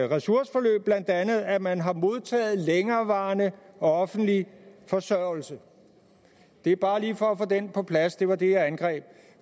ressourceforløb blandt andet at man har modtaget længerevarende offentlig forsørgelse det er bare lige for at få den på plads det var det jeg angreb